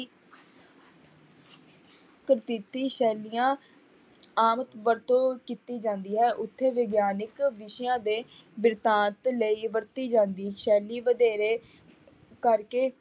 ਸ਼ੈਲੀਆਂ ਆਮ ਵਰਤੋਂ ਕੀਤੀ ਜਾਂਦੀ ਹੈ ਉੱਥੇ ਵਿਗਿਆਨਿਕ ਵਿਸ਼ਿਆਂ ਦੇ ਬਿਰਤਾਂਤ ਲਈ ਵਰਤੀ ਜਾਂਦੀ ਸ਼ੈਲੀ ਵਧੇਰੇ ਕਰਕੇ